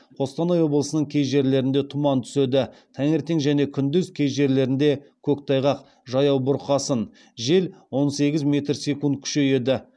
қостанай облысының кей жерлерінде тұман түседі таңертең және күндіз кей жерлерінде көктайғақ жаяу бурқасын жел он сегіз метр секунд күшейеді